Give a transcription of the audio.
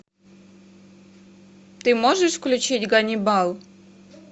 ты можешь включить ганнибал